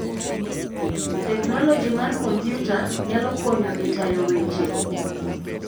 Teknoloji mar kompyuta nyalo konyo e tayo weche.